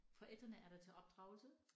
Forældrene er der til opdragelse